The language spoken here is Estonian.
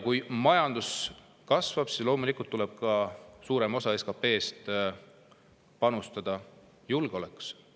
Kui majandus kasvab, siis loomulikult tuleb suurem osa SKP‑st panustada julgeolekusse.